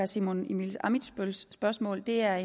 simon emil ammitzbølls spørgsmål det er